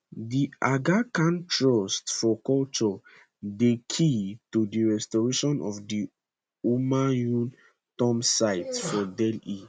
the aga khan trust for culture dey key to di restoration of di humayun tomb site for delhi